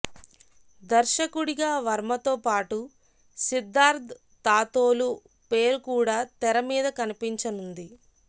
దర్శకుడిగా వర్మతో పాటు సిద్దార్థ్ తాతోలు పేరు కూడా తెర మీద కనిపించనుంది